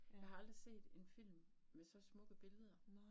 Jeg har aldrig set en film med så smukke billeder